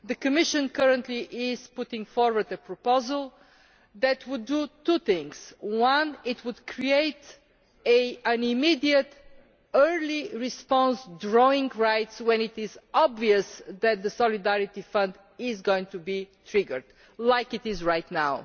The Commission currently is putting forward a proposal which would do two things firstly, it would create immediate early response drawing rights when it is obvious that the Solidarity Fund is going to be triggered, as it is right now.